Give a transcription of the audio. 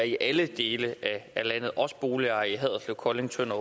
i alle dele af landet også for boligejere i haderslev kolding tønder